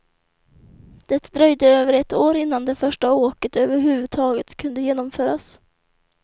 Det dröjde över ett år innan det första åket överhuvudtaget kunde genomföras.